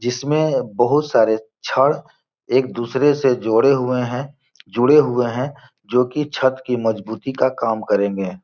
जिसमें बोहोत सारे छड़ एक दूसरे से जोड़े हुए हैं जुड़े हुए हैं जो कि छत की मजबूती का काम करेंगे।